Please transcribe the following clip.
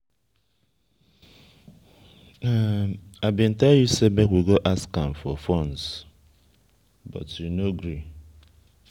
i bin tell you say make we go ask am for funds you no gree